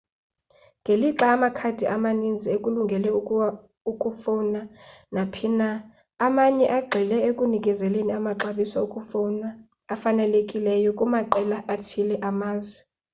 ngelixa amakhadi amaninzi ekulungele ukufowna naphina amanye agxile ekunikezeleni amaxabiso okufowuna afanelekileyo kumaqela athile amazwe